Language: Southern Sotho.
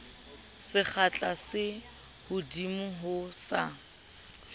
sekgahla se kahodimo ho sa